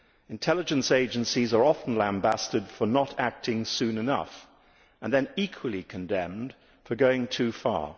Intelligence agencies are often lambasted for not acting soon enough and then equally condemned for going too far.